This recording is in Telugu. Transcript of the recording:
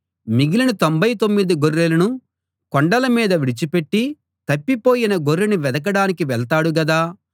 మిగిలిన తొంభై తొమ్మిది గొర్రెలను కొండల మీద విడిచిపెట్టి తప్పిపోయిన గొర్రెను వెదకడానికి వెళ్తాడు గదా